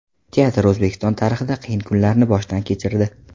Teatr O‘zbekiston tarixida qiyin kunlarni boshdan kechirdi.